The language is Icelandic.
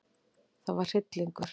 Það var hryllingur.